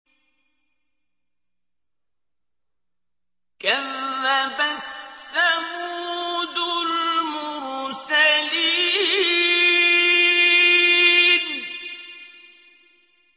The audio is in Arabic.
كَذَّبَتْ ثَمُودُ الْمُرْسَلِينَ